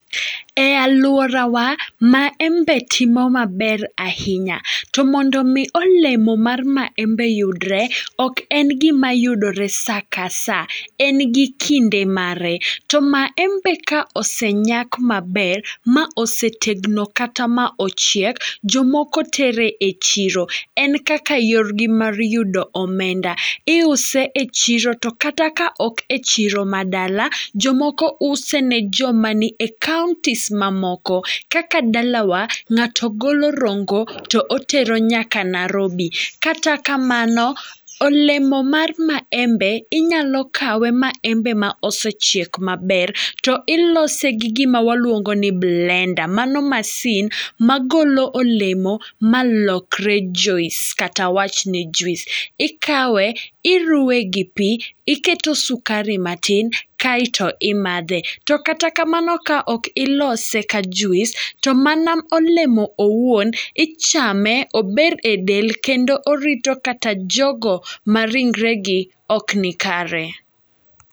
E alworawa, maembe timo maber ahinya. To mondo mi olemo mar maembe yudre ok en gima yudore sa ka sa, en gi kinde mare. To maembe ka osenyak maber ma osetegno kata ma ochiek, jomoko tere e chiro, en kaka yorgi mar yudo omenda. Iuse e chiro to kata ka ok e chiro ma dala, jomoko use ne joma ni e counties ma moko. Kaka dalawa, ng'ato golo Rongo to otero nyaka Narobi. Kata kamano, olemo mar maembe inyalo kawe maembe ma osechiek maber, to ilose gi gima waluongo ni blender. Mano masin ma golo olemo ma lokre juice, kata wachni juis. Ikawe, iruwe gi pi, iketo sukari matin, kaeto imadhe. To kata kamano ka ok ilose ka juis, to mana olemo owuon ichame ober e del kendo orito kata jogo ma ringre gi ok nikare.